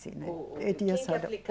Né. Quem que